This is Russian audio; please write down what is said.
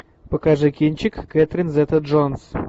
покажи кинчик кэтрин зета джонс